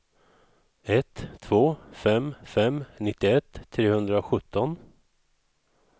ett två fem fem nittioett trehundrasjutton